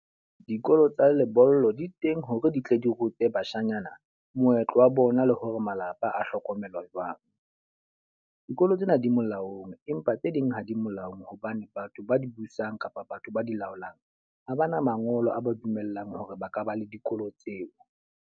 Dikolo tsa lebollo di teng hore di tle di rute bashanyana moetlo wa bona le hore malapa a hlokomelwa jwang. Dikolo tsena di molaong, empa tse ding ha di molaong hobane batho ba di busang kapa batho ba di laolang ha ba na mangolo a ba dumellang hore ba ka ba le dikolo tseo.